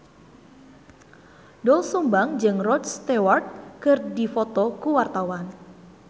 Doel Sumbang jeung Rod Stewart keur dipoto ku wartawan